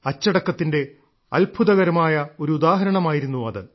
അച്ചടക്കത്തിന്റെ അത്ഭുതകരമായ ഒരു ഉദാഹരണമായിരുന്നു അത്